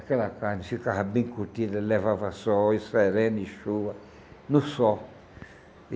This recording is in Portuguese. Aquela carne ficava bem curtida, levava sol e serena e chuva no sol.